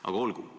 Aga olgu.